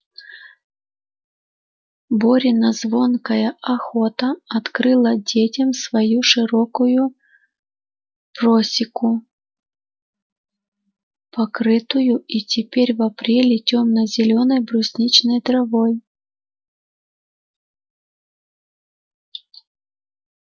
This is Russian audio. борина звонкая охотно открыла детям свою широкую просеку покрытую и теперь в апреле тёмно-зелёной брусничной травой